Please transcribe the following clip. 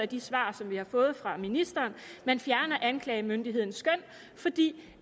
de svar som vi har fået fra ministeren man fjerner anklagemyndighedens skøn fordi